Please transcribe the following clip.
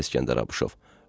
Ay İsgəndər Abuşov.